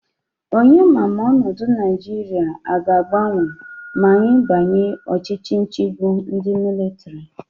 Onye ma Ma onodu naijiria aga agbanwe ma anyi banye Ochichi nchigbu ndi militari?